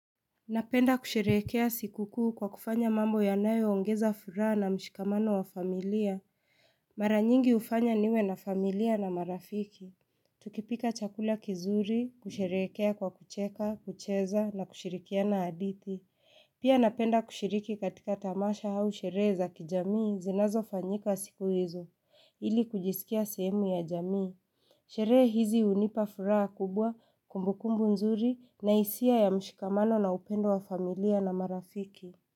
Napenda kusherehekea sikukuu kwa kufanya mambo ya nayo ongeza furaha na mshikamano wa familia. Mara nyingi ufanya niwe na familia na marafiki. Tukipika chakula kizuri, kusherehekea kwa kucheka, kucheza na kushirikia na adithi. Pia napenda kushiriki katika tamasha au sherehe za kijamii zinazo fanyika siku hizo, ili kujisikia sehemu ya jamii. Sherehe hizi unipafuraha kubwa kumbukumbu nzuri na isia ya mshikamano na upendo wa familia na marafiki.